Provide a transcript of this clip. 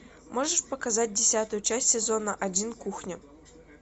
можешь показать десятую часть сезона один кухня